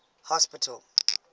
hospital